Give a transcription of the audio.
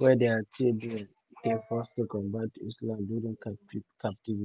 wey dia children dey forced to convert to islam during captivity.